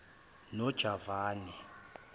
nojavane